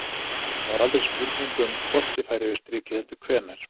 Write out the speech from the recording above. Það var aldrei spurning um hvort ég færi yfir strikið heldur hvenær.